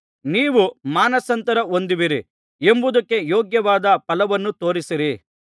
ನೀವು ಮಾನಸಾಂತರ ಹೊಂದಿರುವಿರಿ ಎಂಬುದಕ್ಕೆ ಯೋಗ್ಯವಾದ ಫಲವನ್ನು ತೋರಿಸಿರಿ